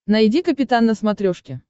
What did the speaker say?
найди капитан на смотрешке